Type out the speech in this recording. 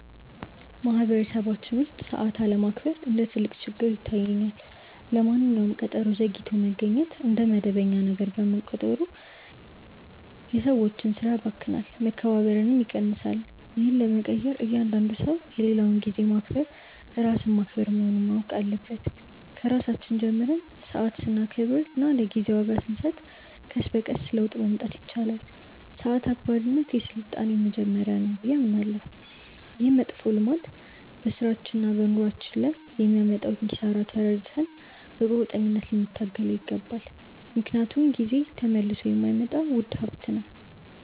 በማኅበረሰባችን ውስጥ ሰዓት አለማክበር እንደ ትልቅ ችግር ይታየኛል። ለማንኛውም ቀጠሮ ዘግይቶ መገኘት እንደ መደበኛ ነገር መቆጠሩ የሰዎችን ሥራ ያባክናል፣ መከባበርንም ይቀንሳል። ይህን ለመቀየር እያንዳንዱ ሰው የሌላውን ጊዜ ማክበር ራስን ማክበር መሆኑን ማወቅ አለበት። ከራሳችን ጀምረን ሰዓት ስናከብርና ለጊዜ ዋጋ ስንሰጥ ቀስ በቀስ ለውጥ ማምጣት ይቻላል። ሰዓት አክባሪነት የሥልጣኔ መጀመሪያ ነው ብዬ አምናለሁ። ይህ መጥፎ ልማድ በሥራችንና በኑሯችን ላይ የሚያመጣውን ኪሳራ ተረድተን በቁርጠኝነት ልንታገለው ይገባል፤ ምክንያቱም ጊዜ ተመልሶ የማይመጣ ውድ ሀብት ነው።